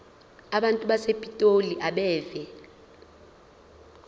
abantu basepitoli abeve